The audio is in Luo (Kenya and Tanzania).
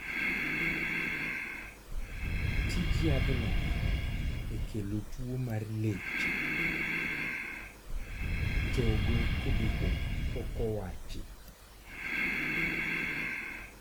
. Tij nyath no e kelo tuo mar leche, chogo kod obo pok owachi